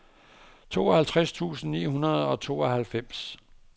tooghalvtreds tusind ni hundrede og tooghalvfjerds